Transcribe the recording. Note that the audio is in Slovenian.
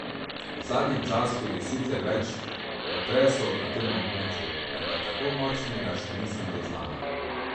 V zadnjem času je sicer več potresov na tem območju, vendar tako močnega še nisem zaznala.